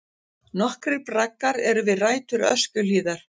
Nokkrir braggar eru við rætur Öskjuhlíðar.